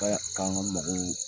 K'a y'a mɔgɔw